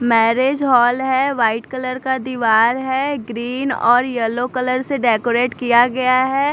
Marriage hall है white colour का दीवार है ग्रीन और येलो कलर से डेकोरेट किया गया है।